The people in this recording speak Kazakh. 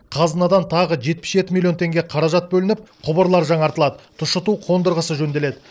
қазынадан тағы жетпіс жеті миллион теңге қаражат бөлініп құбырлар жаңартылады тұщыту қондырғысы жөнделеді